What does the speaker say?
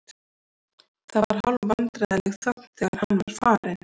Það var hálfvandræðaleg þögn þegar hann var farinn.